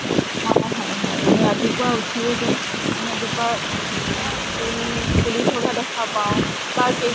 অ হয় হয়। ৰাতিপুৱা উঠিয়ে যে মানে এজোপা উম ফুল ফুলি থকা দেখা পাওঁ বা কে